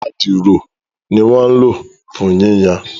Adiro ní wọ́n ń lò fún yíyan